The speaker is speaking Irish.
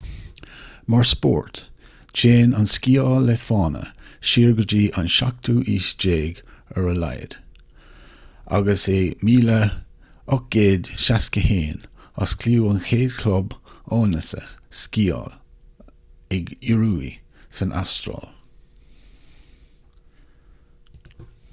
mar spórt téann an sciáil le fána siar go dtí an 17ú haois ar a laghad agus in 1861 osclaíodh an chéad chlub áineasa sciála ag ioruaigh san astráil